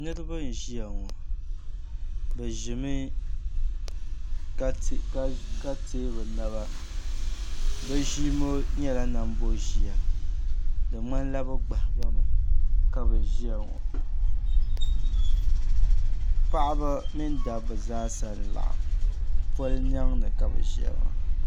Niriba n-ʒiya ŋɔ bɛ ʒimi ka teei bɛ naba bɛ ʒia ŋɔ nyɛla namboʒia di ŋmanila bɛ gbahi ba mi ka bɛ ʒiya ŋɔ paɣiba mini dabba zaasa n-laɣim pol’ niɛŋ ni ka bɛ ʒiya maa